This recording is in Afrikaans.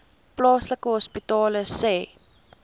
plaaslike hospitale sê